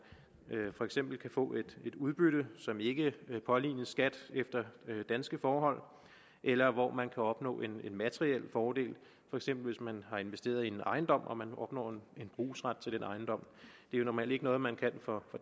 for eksempel kan få et udbytte som ikke pålignes skat efter danske forhold eller hvor man kan opnå en materiel fordel for eksempel hvis man har investeret i en ejendom og man opnår en brugsret til den ejendom det er normalt ikke noget man kan for